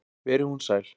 Veri hún sæl.